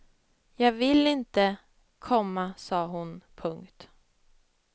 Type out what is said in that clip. Jag vill inte, komma sa hon. punkt